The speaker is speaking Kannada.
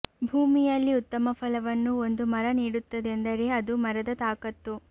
ಭೂಮಿಯಲ್ಲಿ ಉತ್ತಮ ಫಲವನ್ನು ಒಂದು ಮರ ನೀಡುತ್ತದೆಂದರೆ ಅದು ಮರದ ತಾಕತ್ತು